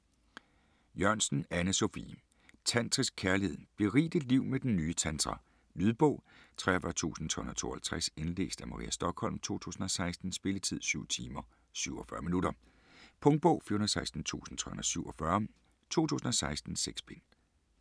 Jørgensen, Anne Sophie: Tantrisk kærlighed: berig dit liv med den nye tantra Lydbog 43352 Indlæst af Maria Stokholm, 2016. Spilletid: 7 timer, 47 minutter. Punktbog 416347 2016. 6 bind.